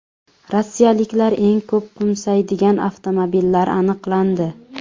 Rossiyaliklar eng ko‘p qo‘msaydigan avtomobillar aniqlandi.